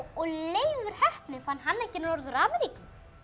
Leifur heppni fann hann ekki Norður Ameríku